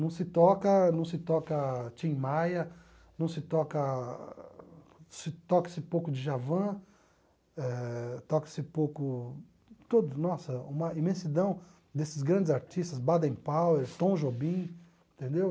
Não se toca não se toca Tim Maia, não se toca se toca-se pouco Djavan eh, toca-se pouco todos nossa uma imensidão desses grandes artistas, Baden Powell, Tom Jobim, entendeu?